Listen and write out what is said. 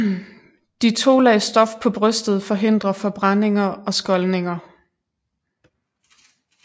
De to lag stof på brystet forhindrer forbrændinger og skoldninger